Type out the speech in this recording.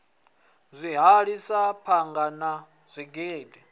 zwihali sa phanga na zwigidi